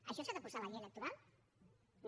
això s’ha de posar a la llei electoral no